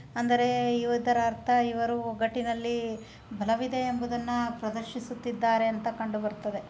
ಅಂದರೆ ಇವುದರ ಅರ್ಥ ಇವರು ಒಗ್ಗಟ್ಟಿನಲ್ಲಿ ಬಲವಿದೆ ಎಂಬುದನ್ನ ಪ್ರದರ್ಶಿಸುತ್ತಿದ್ದಾರೆ ಅಂತ ಕಂಡು ಬರ್ತದೆ.